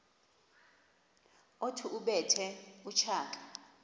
othi ubethe utshaka